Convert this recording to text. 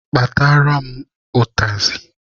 Kpatara m ụtazị!